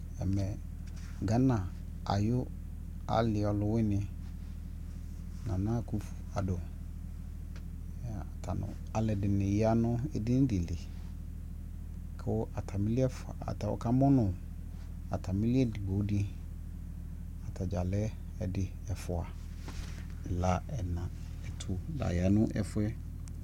ɛmɛ Ghana ayi ali ɔlʋ wini Nana Akuffu Addo ɔta nʋ alʋɛdini yanʋ ɛdini dili kʋ atamili ɛƒʋa, ɔka mʋnʋ atami li ɛdigbɔ di, atagya lɛ ɛdi ɛƒʋa , ɛla, ɛna, ɛtʋ la yanʋ ɛƒʋɛ